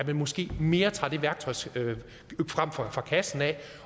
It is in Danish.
man måske mere det værktøj frem fra kassen